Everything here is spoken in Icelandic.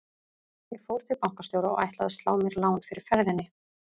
Ég fór til bankastjóra og ætlaði að slá mér lán fyrir ferðinni.